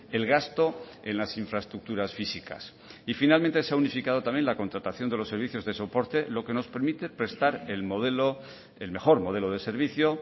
el gasto en las infraestructuras físicas y finalmente se ha unificado también la contratación de los servicios de soporte lo que nos permite prestar el modelo el mejor modelo de servicio